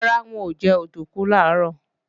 Rárá, n ò jẹ òdùnkún làárọ̀